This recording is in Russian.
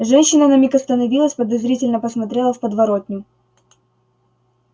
женщина на миг остановилась подозрительно посмотрела в подворотню